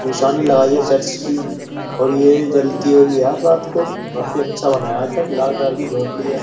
निशानी लगाई है चर्च की और ये जलती होगी यार रात को काफी अच्छा बना है आज लाल कलर की झोपड़ी है।